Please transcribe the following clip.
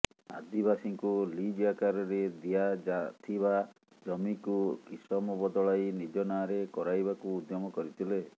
ଆଦିବାସୀ ଙ୍କୁ ଲିଜ ଆକାରରେ ଦିଆଯାଥିବା ଜମିକୁ କିସମ ବଦଳାଇ ନିଜ ନାଁରେ କରାଇବାକୁ ଉଦ୍ୟମ କରିଥିଲେ